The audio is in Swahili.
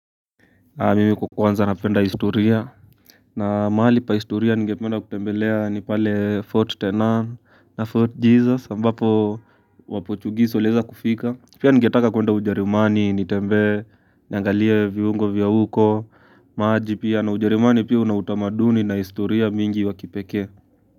Mimi kukuanza napenda historia na mahali pa historia ningependa kutembelea ni pale fort tenan na fort jesus ambapo wapochugisi waliweza kufika pia ningetaka kuenda ujarimani nitembe niangalie viungo viyauko maji pia na ujerumani pia una utamaduni na historia mingi wakipekee.